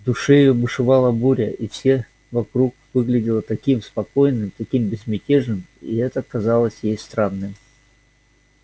в душе её бушевала буря а все вокруг выглядело таким спокойным таким безмятежным и это казалось ей странным